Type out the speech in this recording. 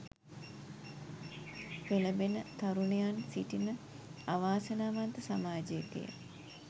පෙළඹෙන තරුණයන් සිටින අවාසනාවන්ත සමාජයකය.